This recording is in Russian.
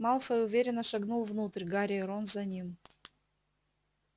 малфой уверенно шагнул внутрь гарри и рон за ним